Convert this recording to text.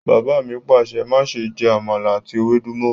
Bàbá mi Pàṣẹ! "máṣe jẹ Àmàlà ati ewédú mọ".